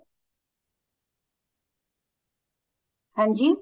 ਹਾਂਜੀ